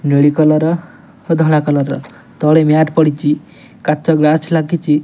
ନେଳି କଲର ଓ ଧଳା କଲର ତଳେ ମ୍ୟାଟ ପଡିଛି। କାଚ ଗ୍ଲାସ୍ ଲାଗିଛ।